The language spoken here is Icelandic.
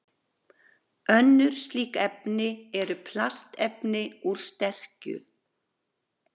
Önnur slík efni eru plastefni úr sterkju.